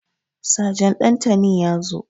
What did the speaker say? Sajan Ɗantani ya zo.